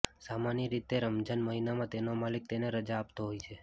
સામાન્ય રીતે રમજાન મહિનામાં તેનો માલિક તેને રજા આપતો હોય છે